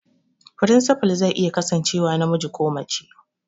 Firinsifal zai iya kasancewa namiji ko mace